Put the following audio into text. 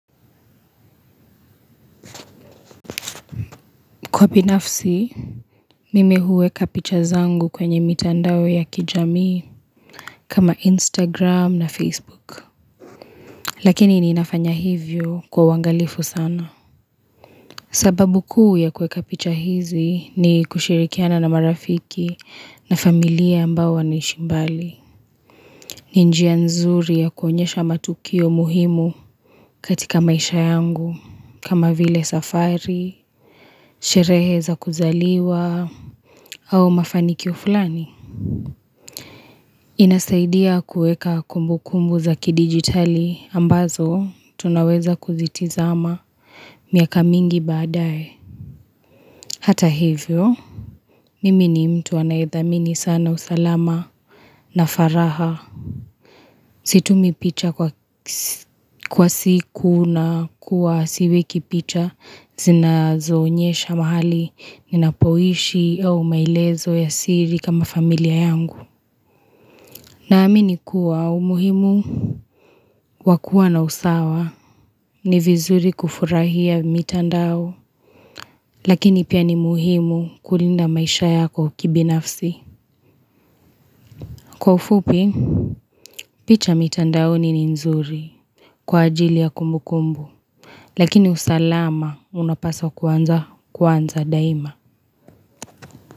Kwa binafsi, mimi huweka picha zangu kwenye mitandao ya kijamii kama Instagram na Facebook. Lakini ninafanya hivyo kwa uwangalifu sana. Sababu kuu ya kuweka kapicha hizi ni kushirikiana na marafiki na familia ambao wanaishi mbali. Ni njia nzuri ya kuonyesha matukio muhimu katika maisha yangu kama vile safari, sherehe za kuzaliwa, au mafanikio flani. Inasaidia kuweka kumbu kumbu za kidigitali ambazo tunaweza kuzitizama miaka mingi badae. Hata hivyo, mimi ni mtu anaethamini sana usalama na faraha. Situmi picha kwa siku na kuwa siweki picha zinazo onyesha mahali ninapohishi au maelezo ya siri kama familia yangu. Naamini kuwa umuhimu wa kuwa na usawa ni vizuri kufurahia mitandao Lakini pia ni muhimu kulinda maisha yako kibinafsi Kwa ufupi picha mitandaoni ni nzuri Kwa ajili ya kumbukumbu Lakini usalama unapasa kuanza kwanza daima.